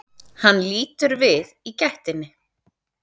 Hann lítur við í gættinni.